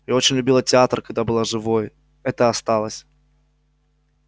я очень любила театр когда была живой это осталось